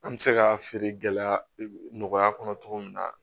An bɛ se ka feere gɛlɛya nɔgɔya kɔnɔ cogo min na